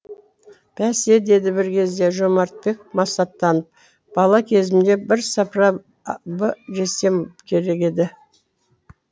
бәсе деді бір кезде жомартбек масаттанып бала кезімде бірсыпыра б жесем керек еді